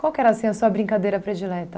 Qual que era, assim, a sua brincadeira predileta?